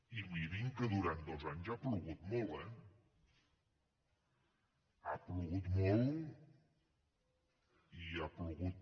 i mirin que durant dos anys ha plogut molt eh ha plogut molt i ha plogut